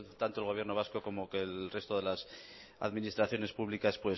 tanto el gobierno vasco como el resto de las administraciones públicas